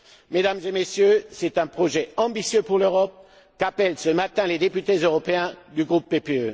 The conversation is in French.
Mesdames et Messieurs, c'est un projet ambitieux pour l'Europe qu'appellent ce matin les députés européens du groupe PPE.